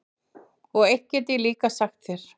Og eitt get ég líka sagt þér,